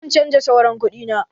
Zan canja sauran kudi na.